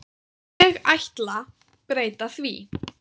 Ég ætla breyta því.